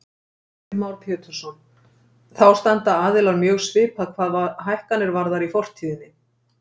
Heimir Már Pétursson: Þá standa aðilar mjög svipað hvað hækkanir varðar í fortíðinni?